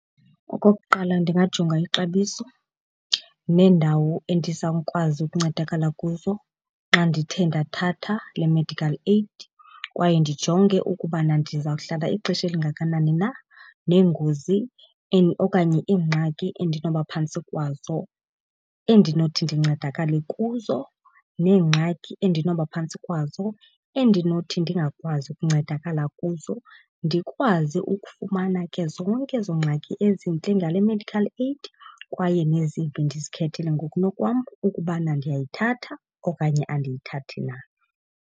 Okokuqala ndingajonga ixabiso neendawo endizawukwazi ukuncedakala kuzo xa ndithe ndathatha le-medical aid kwaye ndijonge ukubana ndizawuhlala ixesha elingakanani na neengozi okanye iingxaki endinoba phantsi kwazo endinothi ndincedakale kuzo neengxaki endinoba phantsi kwazo endinothi ndingakwazi ukuncedakala kuzo. Ndikwazi ukufumana ke zonke ezo ngxaki ezintle ngale medical aid kwaye nezimbi, ndizikhethele ngokunokwam ukubana ndiyayithatha okanye andiyithathi na.